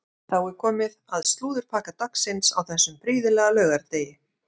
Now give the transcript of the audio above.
Þá er komið að slúðurpakka dagsins á þessum prýðilega laugardegi.